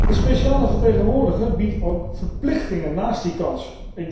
De speciale vertegenwoordiger biedt ook verplichtingen naast die kansen.